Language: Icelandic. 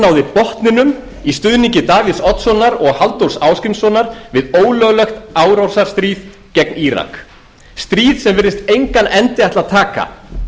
náði botninum í stuðningi davíðs oddssonar og halldórs ásgrímssonar við ólöglegt árásarstríð gegn írak stríð sem virðist engan endi ætla að taka